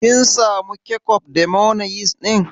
Kin samu kecof da mayonis ɗin?